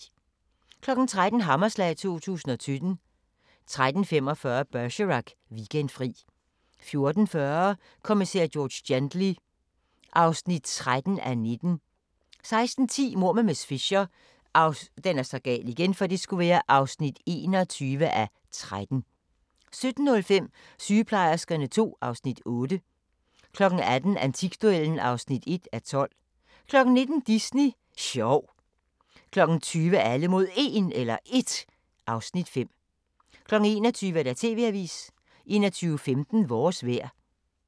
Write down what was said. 13:00: Hammerslag 2017 13:45: Bergerac: Weekendfri 14:40: Kommissær George Gently (13:19) 16:10: Mord med miss Fisher (21:13) 17:05: Sygeplejerskerne II (Afs. 8) 18:00: Antikduellen (1:12) 19:00: Disney sjov 20:00: Alle mod 1 (Afs. 5) 21:00: TV-avisen 21:15: Vores vejr